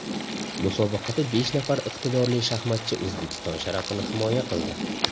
Musobaqada besh nafar iqtidorli shaxmatchi O‘zbekiston sharafini himoya qildi.